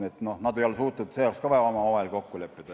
Nii et nad ei ole olnud suutelised ka selles veel omavahel kokku leppima.